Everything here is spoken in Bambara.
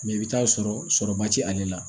i bɛ taa sɔrɔba t'ale la